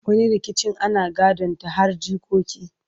wani rikicin ana gadon ta har jikoki